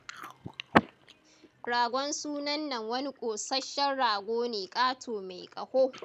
Ragon sunan nan wani ƙosashen rago ne ƙato mai ƙaho